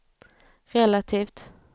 relativt